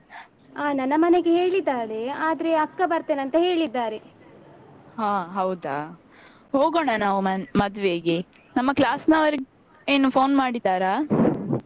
ಹಾ ಹೌದಾ. ಹೋಗೋಣ ನಾವ್ ಮದ್ವೆಗೆ. ನಮ್ಮ class ನವರು ಏನು phone ಮಾಡಿದ್ದಾರಾ?